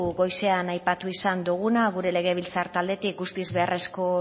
goizean aipatu izan doguna gure legebiltzar taldetik guztiz beharrezkoa